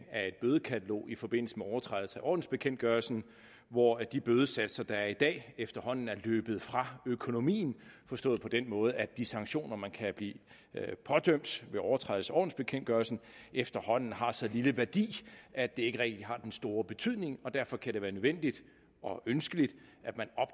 af et bødekatalog i forbindelse med overtrædelse af ordensbekendtgørelsen hvor de bødesatser der er i dag efterhånden er løbet fra økonomien forstået på den måde at de sanktioner man kan blive pådømt ved overtrædelse af ordensbekendtgørelsen efterhånden har så lille værdi at det ikke rigtig har den store betydning derfor kan det være nødvendigt og ønskeligt